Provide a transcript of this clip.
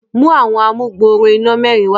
mú Àwọn amugbooro iná mẹrin wá.